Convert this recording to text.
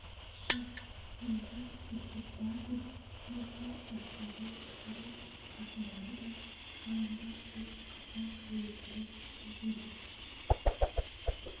жүр мұнда еркек бар деп ерте бастады кәрі қатындары да жалаңбас деп қазақ әйелдері күңкілдесіп